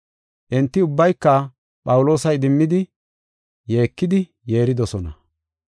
Enti ubbayka Phawuloosa idimmidi yeekidi yeeridosona.